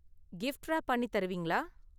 Gift wrap பண்ணி தருவீங்களா?